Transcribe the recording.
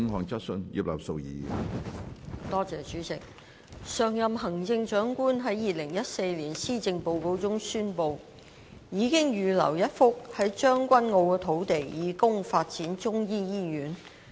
主席，上任行政長官於2014年《施政報告》中宣布，已預留一幅在將軍澳的土地以供發展中醫醫院。